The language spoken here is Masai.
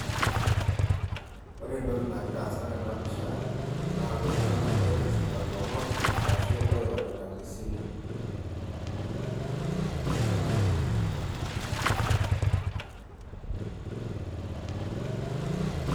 Kore entoki nagira aasa tena pisha, naa iltung'ana oinosita ilomon arashu oirorita te simu.